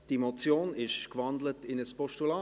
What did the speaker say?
Diese Motion ist gewandelt in ein Postulat.